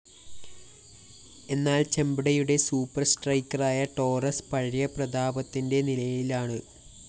എന്നാല്‍ ചെമ്പടയുടെ സൂപ്പർ സ്ട്രൈക്കറായ ടോറസ്‌ പഴയ പ്രതാപത്തിന്റെ നിഴലിലാണ്‌